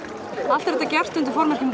allt er þetta gert undir formerkjum